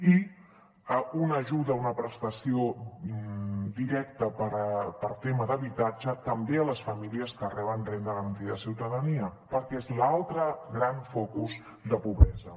i una ajuda una prestació directa per tema d’habitatge també a les famílies que reben renda garantida de ciutadania perquè és l’altre gran focus de pobresa